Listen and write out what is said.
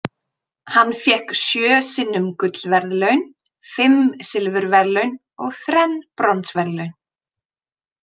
Hann fékk sjö sinnum gullverðlaun, fimm silfurverðlaun og þrenn bronsverðlaun.